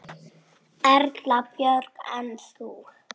Erla Björg: En þú?